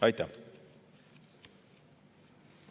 Aitäh!